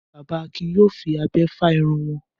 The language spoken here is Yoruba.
Bàbá Akin yóò fi abẹ́ fá irun wọn.